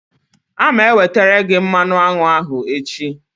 A ma ewetere gị mmanụ aṅụ ahụ echi.